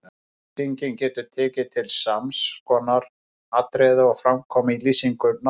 Lýsingin getur tekið til sams konar atriða og fram koma í lýsingu nafnorða